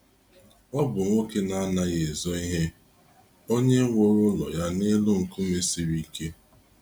Ọ bụ nwoke na anaghị ezo ihe, onye wụrụ ụlọ ya n’elu nkume siri ike.